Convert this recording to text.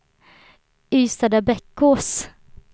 Ystadabbekås